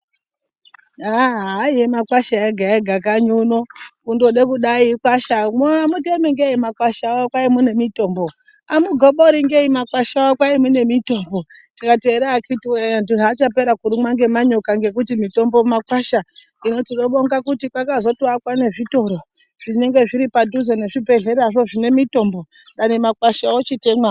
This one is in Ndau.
Haa haava makwasha ega ega kanyi uno kundode kuda iakwasha hamutemi ngei makwasha wo kwai mune mitombo hamugobori ngei makwasha wo kwai mune mutombo tikati era akitiwe antu zvachapera kurumwa ngemanyoka ngekuti mutombo makwadh hino tinobonga kuti kwakazoto akwa mezvitoro zvitioro zvinenge zviri padhuzepo nezvibhedhleya dangani makwasha aya ochitemwa wo.